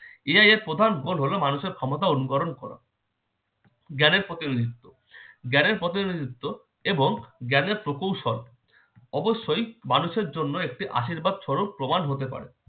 AI এর প্রধান গুণ হলো মানুষের ক্ষমতা অনুকরণ করা জ্ঞানের প্রতিনিধিত্ব- জ্ঞানের প্রতিনিধিত্ব এবং জ্ঞানের প্রকৌশল অবশ্যই মানুষের জন্য একটি আশীর্বাদ স্বরূপ প্রমাণ হতে পারে।